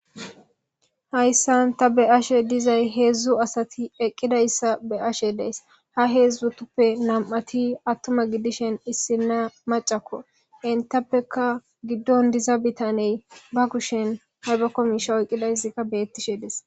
hayssan ta be'ashe dizay heedzdzu asati eqqidayssa be'ashe days ha heedzdzutuppe nam7ati attuma gidishen issina macakko intappeka giddon diza bitaney ba kushen haybakko miisha oqqidaysikka beettishe des